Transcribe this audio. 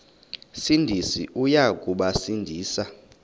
sindisi uya kubasindisa